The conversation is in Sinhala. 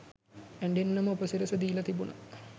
ඇඬෙන්නම උපසිරසි දීලා තිබුණා.